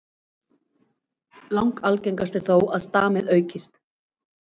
Langalgengast er þó að stamið aukist.